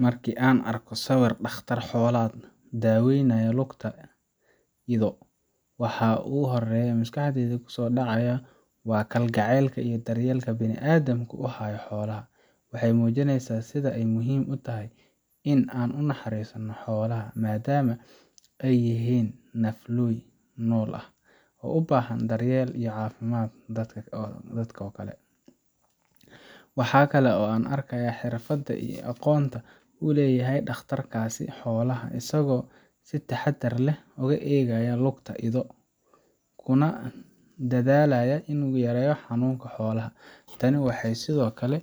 Marka aan arko sawirkan dhakhtar xoolaad oo daweynaya lugta ido, waxa ugu horreeya ee maskaxdayda ku soo dhaca waa kalgacaylka iyo daryeelka bani’aadamku u hayo xoolaha. Waxay muujinaysaa sida ay muhiim u tahay in aan u naxariisanno xoolaha, maadaama ay yihiin nafleey nool ah u baahan daryeel caafimaad sida dadka oo kale. Waxa kale oo aan arkayaa xirfadda iyo aqoonta uu leeyahay dhakhtarkaas xoolaha, isagoo si taxadar leh u eegaya lugta ido, kuna dadaalaya in uu yareeyo xanuunka xoolaha. Tani waxay sidoo kale